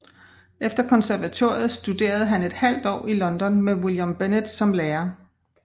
Efter konservatoriet studerede han et halvt år i London med William Bennett som lærer